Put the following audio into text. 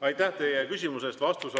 Aitäh teile küsimuse eest!